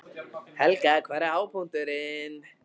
Helga: Hver var hápunkturinn?